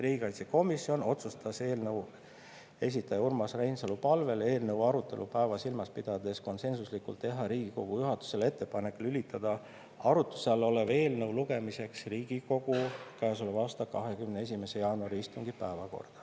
Riigikaitsekomisjon otsustas eelnõu esitaja Urmas Reinsalu palvel ja eelnõu arutelupäeva silmas pidades konsensuslikult, et tehakse Riigikogu juhatusele ettepanek lülitada arutluse all olev eelnõu lugemiseks Riigikogu käesoleva aasta 21. jaanuari istungi päevakorda.